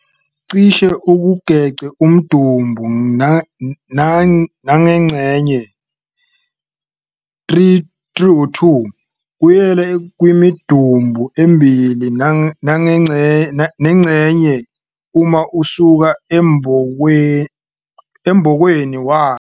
cishe ukugec' umdumbu nangxenye, 3 - 2, kuyela kwimidumbu emibili nangxenye uma usuka embokweni wayo.